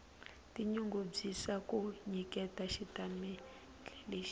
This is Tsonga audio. tinyungubyisa ku nyiketa xitatimendhe lexi